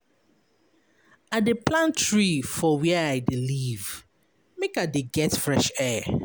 I dey plant tree for where I dey live make I dey get fresh air.